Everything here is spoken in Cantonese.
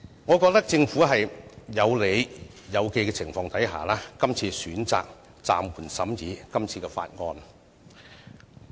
我覺得政府是在有理有據的情況下，選擇暫緩審議這項法案。